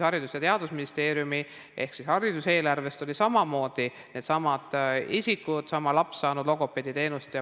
Haridus- ja Teadusministeeriumi ehk hariduse eelarvest olid samamoodi needsamad isikud, samad lapsed, saanud logopeediteenust.